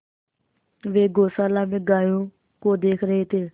वे गौशाला में गायों को देख रहे थे